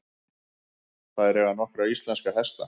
Þær eiga nokkra íslenska hesta.